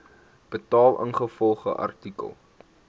betaal ingevolge artikel